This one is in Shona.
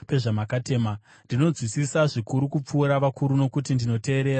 Ndinonzwisisa zvikuru kupfuura vakuru, nokuti ndinoteerera zvirevo zvenyu.